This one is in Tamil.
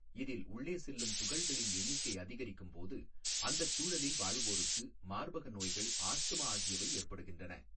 இதில் உள்ளே செல்லும் துகள்களின் எண்ணிக்கை அதிகரிக்கும்போது அந்தச் சூழலில் வாழ்வோருக்கு மார்பக நோய்கள் ஆஸ்த்மா ஆகியவை ஏற்படுகின்றன.